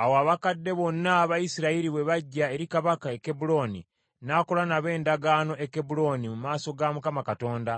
Awo abakadde bonna aba Isirayiri bwe bajja eri kabaka e Kebbulooni, n’akola nabo endagaano e Kebbulooni mu maaso ga Mukama Katonda,